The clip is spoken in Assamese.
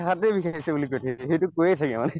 হাতে বিষাই আছে বুলি কই থাকে সেইটো কৈয়ে থাকে মানে